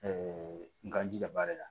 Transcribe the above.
k'an jija baara la